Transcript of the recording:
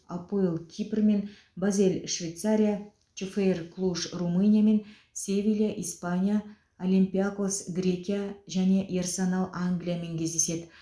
апоэл кипр мен базель швейцария чфр клуж румыния мен севилья испания олимпиакос грекия және ерсенал англия мен кездеседі